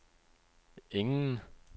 ingen